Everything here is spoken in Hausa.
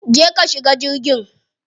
Je ka shiga jirgin.